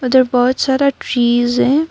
उधर बहोत सारा फीज है।